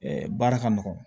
baara ka nɔgɔn